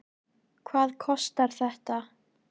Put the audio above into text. Hvað kostar þetta?